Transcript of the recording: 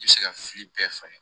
I bɛ se ka fili bɛɛ falen